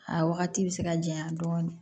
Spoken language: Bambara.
A wagati bɛ se ka janya dɔɔnin